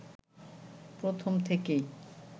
প্রথম থেকেই